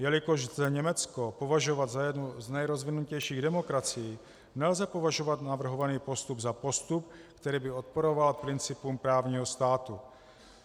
Jelikož lze Německo považovat za jednu z nejrozvinutějších demokracií, nelze považovat navrhovaný postup za postup, který by odporoval principům právního řádu.